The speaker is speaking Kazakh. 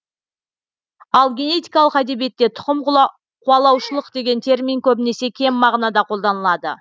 ал генетикалық әдебиетте тұқым қуалаушылық деген термин көбінесе кем мағынада қолданылады